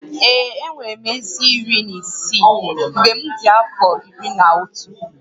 Ee, enwere m eze iri na isii mgbe m dị afọ iri na otu